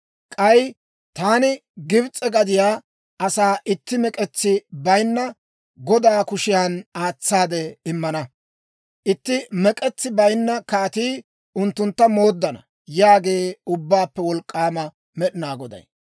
K'ay taani Gibs'e gadiyaa asaa itti mek'etsi bayinna godaa kushiyan aatsaade immana; itti mek'etsi bayinna kaatii unttuntta mooddana» yaagee Ubbaappe Wolk'k'aama Med'inaa Goday.